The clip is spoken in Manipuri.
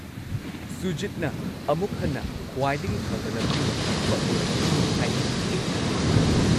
ꯁꯨꯖꯤꯠꯅ ꯑꯃꯨꯛ ꯍꯟꯅ ꯈ꯭ꯋꯥꯏꯗꯒꯤ ꯐꯕ ꯂꯝꯖꯤꯡ-ꯂꯝꯇꯥꯛꯄ ꯑꯣꯏꯔꯛꯀꯅꯤ ꯍꯥꯏꯅ ꯑꯩ ꯊꯥꯖꯩ꯫